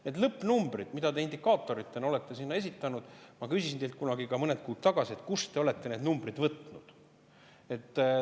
Need lõppnumbrid, mis te indikaatoritena olete sinna esitanud – ma küsisin teilt kunagi, mõned kuud tagasi, kust te olete need numbrid võtnud.